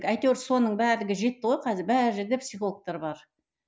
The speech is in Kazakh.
әйтеуір соның де жетті ғой қазір бар жерде психологтар бар